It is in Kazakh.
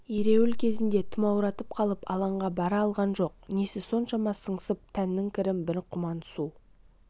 ереуіл кезінде тұмауратып қалып алаңға бара алған жоқ несі соншама сыңсып тәннің кірін бір құман су